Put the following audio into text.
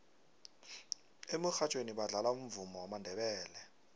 emurhatjhweni badlala umvumo wamandebele